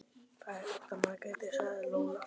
Það er út af Margréti, sagði Lóa.